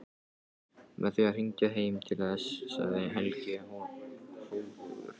Með því að hringja heim til þess, segir Helgi hróðugur.